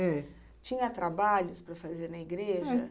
É. Tinha trabalhos para fazer na igreja?